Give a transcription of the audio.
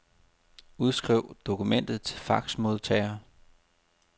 Udskriv dokumentet til faxmodtager.